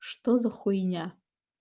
что за хуйня